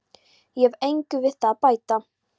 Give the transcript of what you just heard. Ég hef engu við það að bæta.